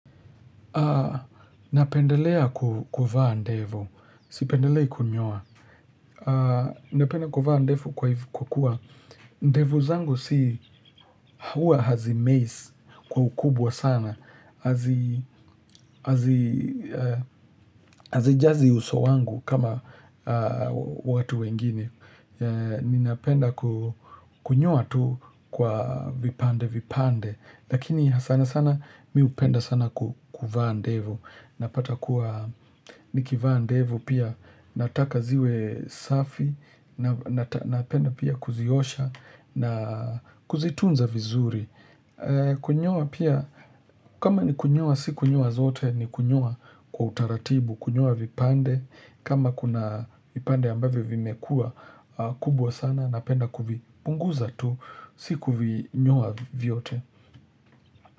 Na pendelea kuvaa ndevu. Sipendelei kunyowa. N penda kuvaa ndevu kwa kuwa. Ndevu zangu si huwa hazimei kwa ukubwa sana. Hazijazi uso wangu kama watu wengine. Ni napenda kunyoa tu kwa vipande vipande Lakini sana sana mi hupenda sana kuvaa ndevu Napata kuwa nikivaa ndevu pia nataka ziwe safi Napenda pia kuziosha na kuzitunza vizuri Kunyoa pia kama ni kunyoa si kunyoa zote ni kunyoa kwa utaratibu Kunyoa vipande kama kuna vipande ambavyo vimekua kubwa sana napenda kuvipunguza tu si kuvinyoa vyote.